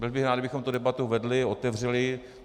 Byl bych rád, kdybychom tu debatu vedli, otevřeli.